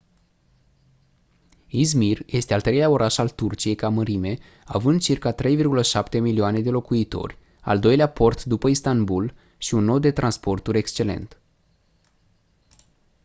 i̇zmir este al treilea oraș al turciei ca mărime având circa 3,7 milioane de locuitori al doilea port după istanbul și un nod de transporturi excelent